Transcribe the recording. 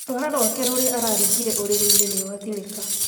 Rũara rwake rũrĩa araringire ũrĩrĩinĩ nĩ rwatinĩka